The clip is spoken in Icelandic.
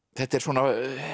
þetta er svona